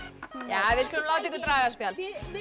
nei við skulum láta ykkur draga spjald